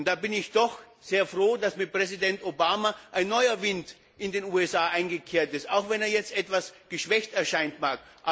Da bin ich doch sehr froh, dass mit Präsident Obama ein neuer Wind in den USA weht, auch wenn er jetzt etwas abgeschwächt erscheinen mag.